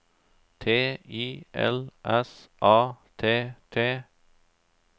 T I L S A T T